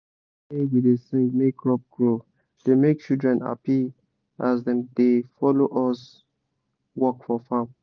song wey we da sing make crop grow da make children happy as dem da follow us work for farm